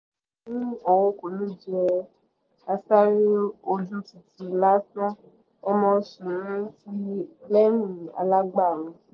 ó ní òun kò ní jẹ́ àsáré ojú títi lásán ọ́n mọ ń ṣe é ní lẹ́yìn - alàgbà a